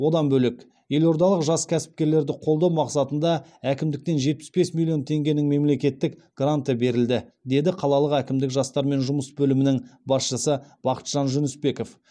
одан бөлек елордалық жас кәсіпкерлерді қолдау мақсатында әкімдіктен жетпіс бес миллион теңгенің мемлекеттік гранты берілді деді қалалық әкімдіктің жастармен жұмыс бөлімінің басшысы бақытжан жүнісбеков